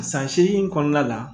San seegin in kɔnɔna la